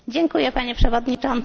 Panie Przewodniczący!